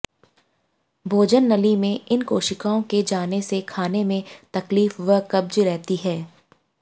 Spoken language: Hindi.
भोजननली में इन कोशिकाओं के जाने से खाने में तकलीफ व कब्ज रहती है